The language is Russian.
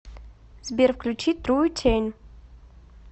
сбер включи трутень